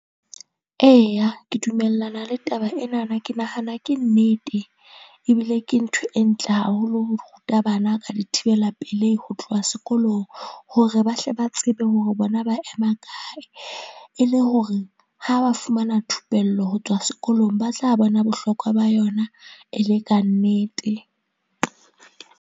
Eya, ke dumellana le taba ena na ke nahana ke nnete ebile ke ntho e ntle haholo, ho ruta bana ka dithibela pelehi ho tloha sekolong, hore ba hle ba tsebe hore bona ba ema kae e le hore ha ba fumana thupello ho tswa sekolong, ba tla bona bohlokwa ba yona e le kannete.